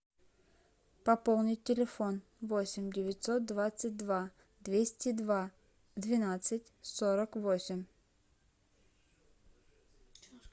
пополнить телефон восемь девятьсот двадцать два двести два двенадцать сорок восемь